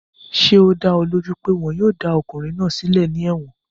Ṣé ó dá ọ lójú pé wọn yóò dá ọkùnrin náà sílẹ̀ ní ẹ̀wọ̀n?